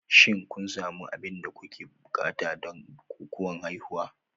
Shin kun sami duk abin da kuke buƙata don bukukuwan haihuwa?